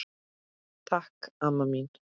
Takk amma mín.